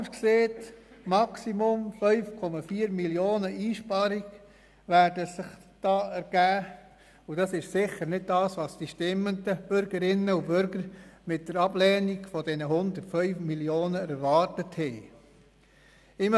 Es werden sich maximal 5,4 Mio. Franken Einsparungen dadurch ergeben, und das ist sicher nicht, was die stimmenden Bürgerinnen und Bürger mit der Ablehnung der 105 Mio. Franken erwartet haben.